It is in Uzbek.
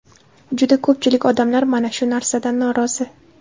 Juda ko‘pchilik odamlar mana shu narsadan norozi.